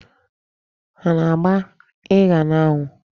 Ha ana-agba ịsha n'anwụ?